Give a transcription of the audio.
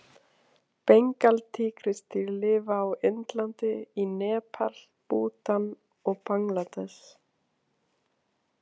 Bengaltígrisdýr lifa á Indlandi, í Nepal, Bútan og Bangladess.